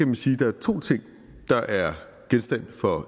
man sige at der er to ting der er genstand for